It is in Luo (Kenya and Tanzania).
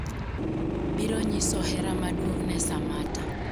biro nyiso hera maduong' ne Sammata